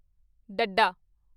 ਡੱਡਾ